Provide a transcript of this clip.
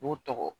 U b'u tɔgɔ